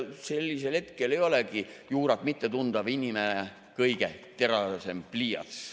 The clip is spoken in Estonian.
Sellisel hetkel ei olegi juurat mitte tundev inimene kõige teravam pliiats.